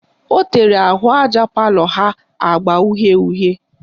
Ọ tere ahụaja palọ ha agba uhie uhie